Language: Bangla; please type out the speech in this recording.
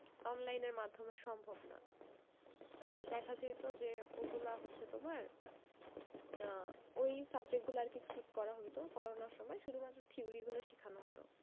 online এর মাধ্যমে সম্ভব না তো দেখা যেত যে অগুলা হচ্ছে তোমার আহ ওই subject গুলা আরকি skip করা হতো করোনার সময় শুধুমাত্র theory গুলা শিখানো হতো।